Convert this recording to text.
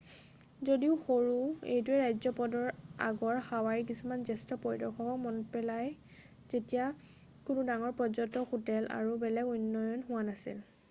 যদিও সৰু এইটোৱে ৰাজ্যপদৰ আগৰ হাৱাইৰ কিছুমান জ্যেষ্ঠ পৰিদৰ্শকক মনত পেলাই যেতিয়া কোনো ডাঙৰ পৰ্যটক হোটেল আৰু বেলেগ উন্নয়ন হোৱা নাছিল